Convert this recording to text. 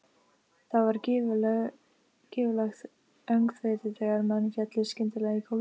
Það varð gífurlegt öngþveiti þegar menn féllu skyndilega í gólfið.